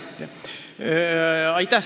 Aitäh!